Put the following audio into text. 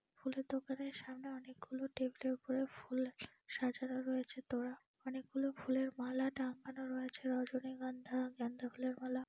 ফুলের দোকানের সামনে অনেকগুলো টেবিল এর উপরে ফুল সাজান রয়েছে তোড়া অনেকগুলো ফুলের মালা টাঙ্গানো রয়েছে রজনিগন্ধা গেন্দা ফুলের মালা।